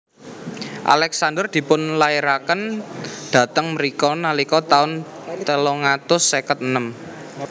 Alexander dipun lairaken dhateng mrika nalika taun telung atus seket enem